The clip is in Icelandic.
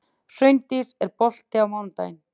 Hraundís, er bolti á mánudaginn?